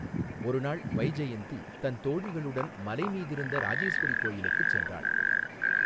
ஒருநாள் வைஜெயந்தி தன் தோழிகளுடன் மலைமீதிருந்த ராஜேஸ்வரி கோயிலுக்குச் சென்றாள்.